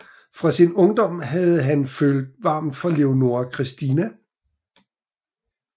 Fra sin ungdom havde han følt varmt for Leonora Christina